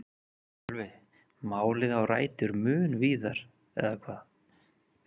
Sölvi: Málið á rætur mun víðar eða hvað?